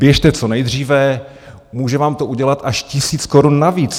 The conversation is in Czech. Běžte co nejdříve, může vám to udělat až tisíc korun navíc.